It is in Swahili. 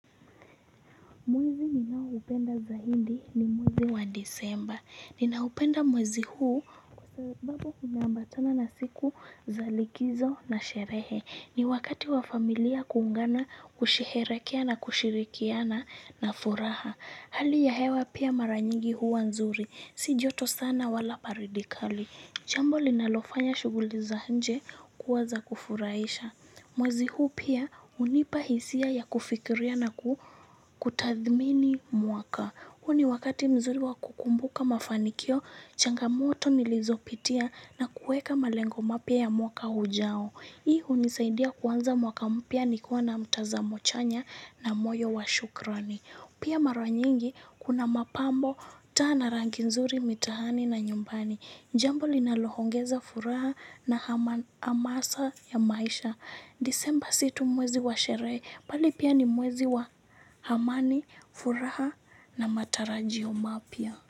Mwezi ninaupenda za hindi ni mwezi wa disemba. Ninaupenda mwezi huu kwa sababu unambatana na siku za likizo na sherehe. Ni wakati wa familia kungana, kushehekea na kushirikia na nafuraha. Hali ya hewa pia maranyingi huu wa nzuri, si joto sana wala paradikali. Jambo linalofanya shuguli za nje kuwaza kufuraisha. Mwezi huu pia unipa hisia ya kufikiria na kutathmini mwaka. Hu ni wakati mzuri wa kukumbuka mafanikio, changamoto nilizopitia na kueka malengo mapia ya mwaka hujao. Hii unisaidia kuanza mwaka mpia nikua na mtazamo chanya na moyo wa shukrani. Pia mara nyingi kuna mapambo, ta na rangi nzuri, mitahani na nyumbani. Jambo linalohongeza furaha na hamasa ya maisha. Disemba situ mwezi wa shere, pali pia ni mwezi wa hamani, furaha na matarajio mapia.